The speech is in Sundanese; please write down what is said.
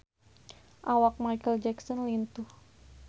Awak Micheal Jackson lintuh